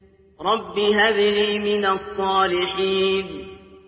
رَبِّ هَبْ لِي مِنَ الصَّالِحِينَ